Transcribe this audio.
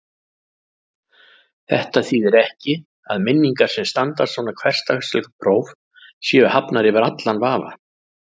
Þetta þýðir ekki að minningar sem standast svona hversdagsleg próf séu hafnar yfir allan vafa.